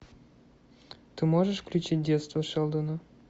ты можешь включить детство шелдона